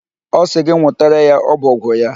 Ọ sị gị nwụtara ya ọbọgwụ ya.